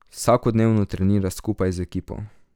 Vsakodnevno trenira skupaj z ekipo.